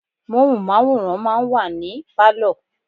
Móhùnmáwòrán máa ń wà ní Pálọ̀.